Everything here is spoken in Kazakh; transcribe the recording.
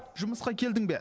жұмысқа келдің бе